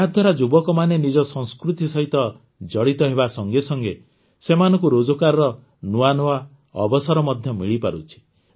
ଏହାଦ୍ୱାରା ଯୁବକମାନେ ନିଜ ସଂସ୍କୃତି ସହିତ ଜଡ଼ିତ ହେବା ସଙ୍ଗେ ସଙ୍ଗେ ସେମାନଙ୍କୁ ରୋଜଗାରର ନୂଆ ନୂଆ ଅବସର ମଧ୍ୟ ମିଳିପାରୁଛି